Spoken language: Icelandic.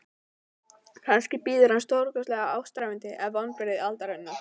Kannski bíður hans stórkostlegt ástarævintýri eða vonbrigði aldarinnar.